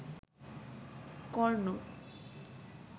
কর্ণ